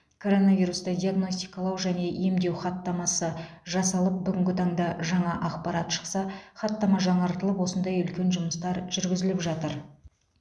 коронавирусты диагностикалау және емдеу хаттамасы жасалып бүгінгі таңда жаңа ақпарат шықса хаттама жаңартылып осындай үлкен жұмыстар жүргізіліп жатыр